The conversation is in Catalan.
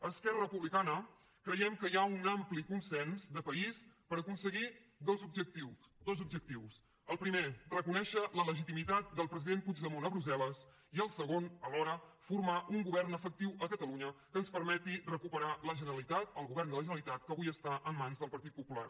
a esquerra republicana creiem que hi ha un ampli consens de país per aconseguir dos objectius el primer reconèixer la legitimitat del president puigdemont a brussel·les i el segon alhora formar un govern efectiu a catalunya que ens permeti recuperar la generalitat el govern de la generalitat que avui està en mans del partit popular